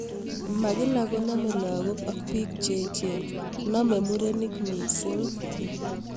Makila konamei lagok ak pik cheechen ,namei murenik mising